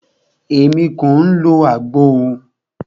Émi kìí lo àgbo o.